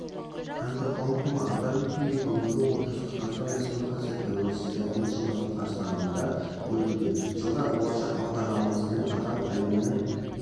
әбдіқалықова атап өткендей бүгінгі отырыс қазақстан республикасы тәуелсіздігінің жылдығы қарсаңында өтуде жылда болашақ бағдарламасымен адам әлемнің